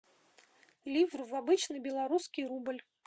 ливр в обычный белорусский рубль